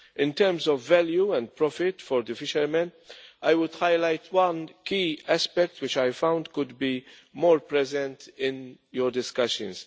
In terms of value and profit for the fishermen, I would highlight one key aspect which I found could be more present in your discussions.